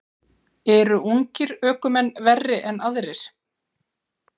Eru ungir ökumenn verri en aðrir?